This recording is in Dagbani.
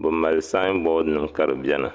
bi mali saanbɔd nim ka bɛni.